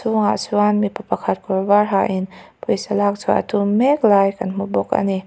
hnungah chuan mipa pakhat kawr var ha in pawisa lakchhuak a tum mek lai kan hmu bawk a ni.